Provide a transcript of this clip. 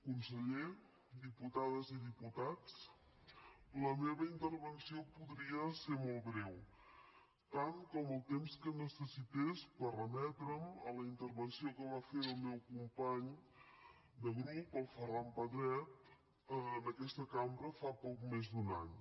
conseller diputades i diputats la meva intervenció podria ser molt breu tant com el temps que necessités per remetre’m a la intervenció que va fer el meu company de grup el ferran pedret en aquesta cambra fa poc més d’un any